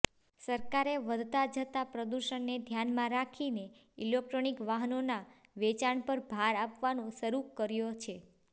સરકારે વધતા જતા પ્રદુષણને ધ્યાનમાં રાખીને ઇલેકટ્રોનિક વાહનોના વેચાણ પર ભાર આપવાનો શરૂ કર્યો છે